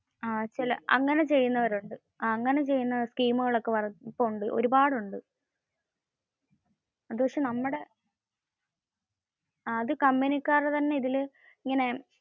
അങ്ങനെ ചെയുന്ന ടീമുകൾ ഒക്കെ ഒരുപാടു ഉണ്ട്. അത് കമ്പനികരുടെ തന്നെ ഇതിൽ, ഇങ്ങനെ.